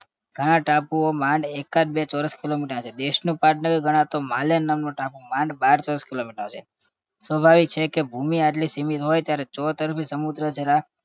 ઘણા ટાપુઓ માંડ એકાદ બે ચોરસ kilometer ના છે. દેશનું પાટનગર ગણાતો માલે નામનો ટાપુ માંડ બાર ચોરસ kilometer નો છે. સ્વાભાવિક છે કે ભૂમિ આટલી સીમિત હોય ત્યારે ચોતરફી સમુદ્ર જરા